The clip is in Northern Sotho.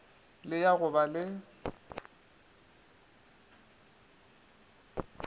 le ya go ba le